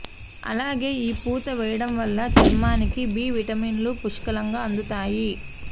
అలాగే ఈ పూత వేయడం వల్ల చర్మానికి బి విటమిన్లు పుష్కలంగా అందుతాయి